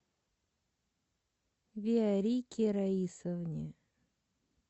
виорике раисовне